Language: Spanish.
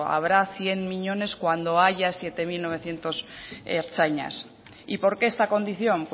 habrá cien miñones cuando haya siete mil novecientos ertzainas y por qué esta condición